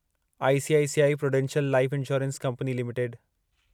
ICICI Prudential life insurance company limited